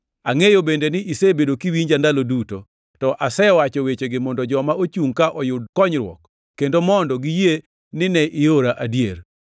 Angʼeyo bende ni isebedo kiwinja ndalo duto, to asewacho wechegi mondo joma ochungʼ ka oyud konyruok, kendo mondo giyie nine iora adier.”